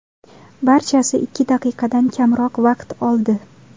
Barchasi ikki daqiqadan kamroq vaqt oldi.